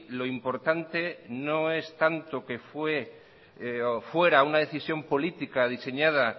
lo importante no es tanto que fue o fuera una decisión política diseñada